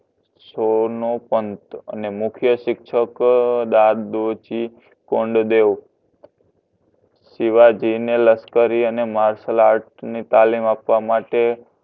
સોનોપંથ અને મુખ્ય શિક્ષક કોંડદેવ શિવાજીને લશ્કરી અને Martialart ની તાલીમ આપવા માટે